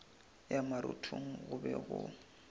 ya marothong go be go